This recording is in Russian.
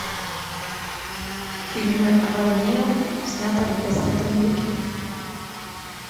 фильмы о войне снятые в двадцатом веке